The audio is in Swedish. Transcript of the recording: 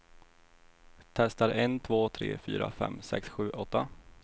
Testar en två tre fyra fem sex sju åtta.